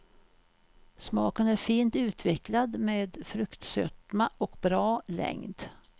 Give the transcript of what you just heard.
Smaken är fint utvecklad med fruktsötma och bra längd.